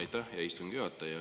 Aitäh, hea istungi juhataja!